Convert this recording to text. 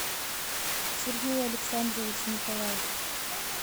сергей александрович николаев